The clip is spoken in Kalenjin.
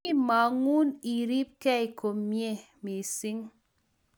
Kimagun iripkei Komie mising